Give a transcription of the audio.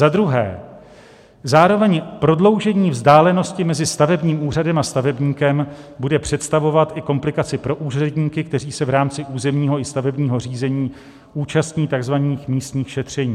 Za druhé, zároveň prodloužení vzdálenosti mezi stavebním úřadem a stavebníkem bude představovat komplikaci i pro úředníky, kteří se v rámci územního i stavebního řízení účastní takzvaných místních šetření.